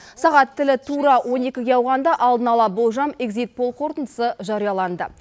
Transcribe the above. сағат тілі тура он екіге ауғанда алдын ала болжам эгзит пол қорытындысы жарияланды